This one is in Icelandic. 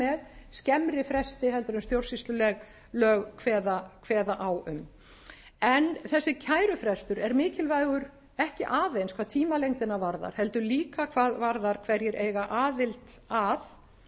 ekki að koma með skemmri fresti heldur en stjórnsýslulög kveða á um en þessi kærufrestur er mikilvægur ekki aðeins hvað tímalengdina varðar heldur líka hvað varðar hverjir eiga aðild að